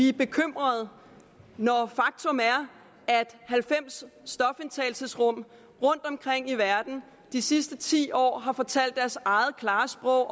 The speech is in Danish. er bekymret når faktum er at halvfems stofindtagelsesrum rundtomkring i verden de sidste ti år har talt deres eget klare sprog i